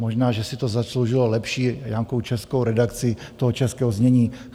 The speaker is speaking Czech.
Možná, že si to zasloužilo lepší nějakou českou redakci toho českého znění.